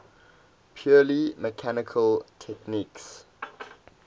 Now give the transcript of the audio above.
purely mechanical techniques